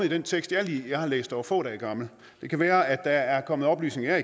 i den tekst jeg har læst der er få dage gammel det kan være at der er kommet oplysninger